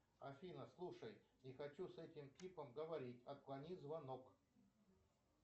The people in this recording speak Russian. афина слушай не хочу с этим типом говорить отклони звонок